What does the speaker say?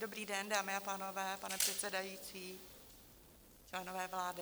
Dobrý den, dámy a pánové, pane předsedající, členové vlády.